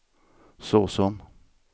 såsom